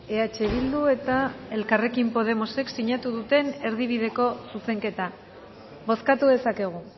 eh bildu eta elkarrekin podemosek sinatu duten erdibideko zuzenketa bozkatu dezakegu